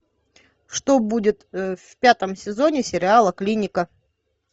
что будет в пятом сезоне сериала клиника